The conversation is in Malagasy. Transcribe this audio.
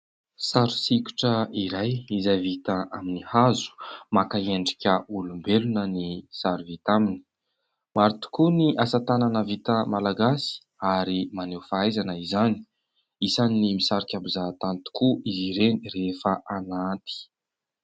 Sary sikotra iray izay vita amin'ny hazo maka endrika olombelona ny sary vita aminy. Maro tokoa ny asa tanana vita malagasy ary maneho fahaizana izany. Isan'ny misarika mpizaha tany tokoa izy ireny rehefa aranty.